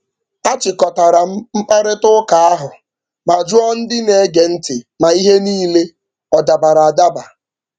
A chịkọtara m mkparịtaụka ahụ ma jụọ ndị na-ege ntị ma ihe niile ọ dabara adaba.